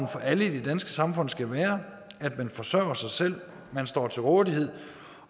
for alle i det danske samfund skal være at man forsørger sig selv at man står til rådighed